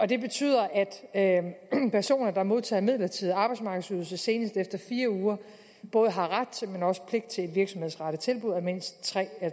det betyder at personer der modtager midlertidig arbejdsmarkedsydelse senest efter fire uger både har ret til og også pligt til et virksomhedsrettet tilbud af mindst